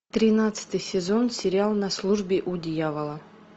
тринадцатый сезон сериал на службе у дьявола